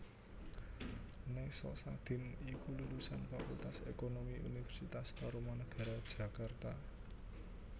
Nessa Sadin iku lulusan Fakultas Ekonomi Universitas Tarumanagara Jakarta